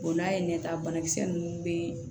n'a ye ɲɛta banakisɛ ninnu bɛ